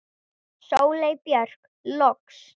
Sóley Björk loks.